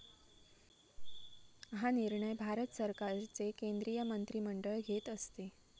हा निर्णय भारत सरकारचे केंद्रीय मंत्रिमंडळ घेत असते.